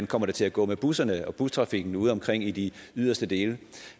kommer til at gå med busserne og bustrafikken ude omkring i de yderste dele